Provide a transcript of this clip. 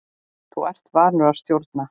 Þú ert vanur að stjórna.